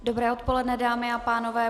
Dobré odpoledne, dámy a pánové.